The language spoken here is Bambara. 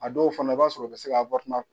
A dɔw fana i b'a sɔrɔ o bɛ se k'a